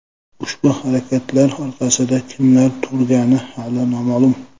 Ushbu harakatlar orqasida kimlar turgani hali noma’lum.